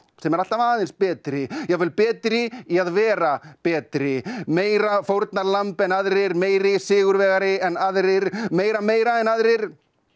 sem er alltaf aðeins betri jafnvel betri í að vera betri meira fórnarlamb en aðrir meiri sigurvegari en aðrir meira meira en aðrir